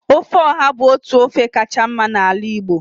ofe oha bu otu ofe kacha mma na ala Igbo